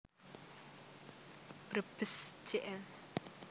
Brebes Jl